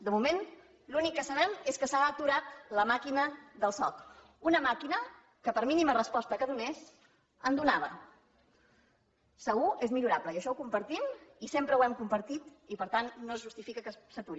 de moment l’únic que sabem és que s’ha aturat la màquina del soc una màquina que per mínima resposta que donés en donava segur és millorable i això ho compartim i sempre ho hem compartit i per tant no es justifica que s’aturi